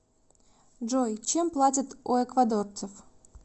джой чем платят у эквадорцев